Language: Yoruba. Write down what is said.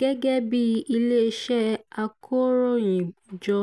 gẹ́gẹ́ bí iléeṣẹ́ akọ̀ròyìnjọ